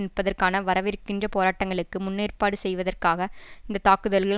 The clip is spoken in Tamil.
நிற்பதற்கான வரவிருக்கின்ற போராட்டங்களுக்கு முன்னேற்பாடு செய்வதற்காக இந்த தாக்குதல்கள்